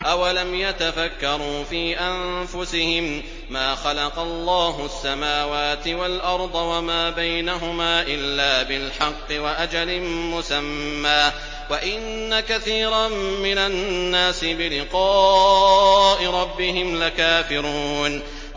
أَوَلَمْ يَتَفَكَّرُوا فِي أَنفُسِهِم ۗ مَّا خَلَقَ اللَّهُ السَّمَاوَاتِ وَالْأَرْضَ وَمَا بَيْنَهُمَا إِلَّا بِالْحَقِّ وَأَجَلٍ مُّسَمًّى ۗ وَإِنَّ كَثِيرًا مِّنَ النَّاسِ بِلِقَاءِ رَبِّهِمْ لَكَافِرُونَ